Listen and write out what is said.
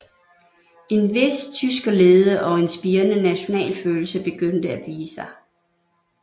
En vis tyskerlede og en spirende nationalfølelse begyndte at vise sig